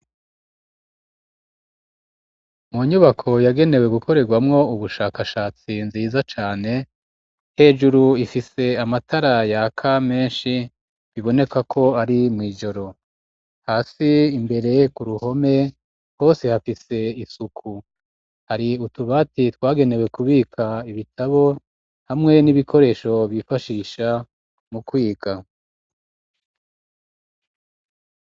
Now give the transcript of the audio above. Mu nyubako yagenewe gukorerwamwo ubushakashatsi nziza cane hejuru ifise amatara ya ka meshi biboneka ko ari mu ijoro hasi imbere ku ruhome hose hafise isuku hari utubati twagenewe kubika ibitabo hamwe n'ibikoresho bifashisha mu kwiga